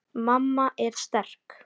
Mamma er sterk.